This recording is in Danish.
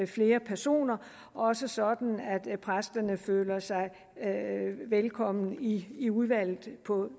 flere personer også sådan at præsterne føler sig velkomne i i udvalget på